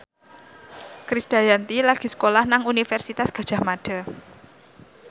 Krisdayanti lagi sekolah nang Universitas Gadjah Mada